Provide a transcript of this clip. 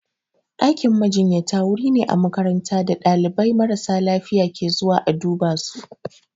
Ɗakin majinyata wuri ne a makaranta da ɗalibai marasa lafiya ke zuwa a duba su.